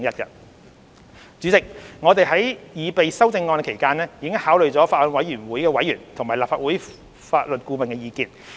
代理主席，我們在擬備修正案期間，已考慮法案委員會委員和立法會法律顧問的意見。